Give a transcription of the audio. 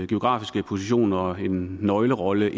geografiske position og den nøglerolle